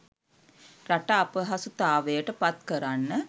රට අපහසුතාවයට පත්කරන්න